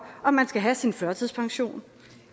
om man skal have sin førtidspension